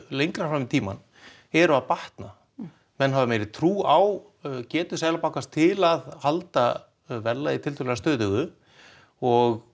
lengra fram í tíma eru að batna menn hafa meiri trú á getu Seðlabanka til að halda verðlagi stöðugu og